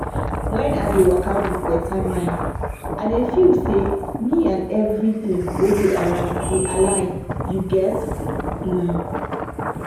wen i dey waka with better mind i dey feel say me and everything wey dey around dey align you get um